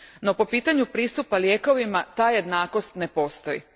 No, po pitanju pristupa lijekovima ta jednakost ne postoji.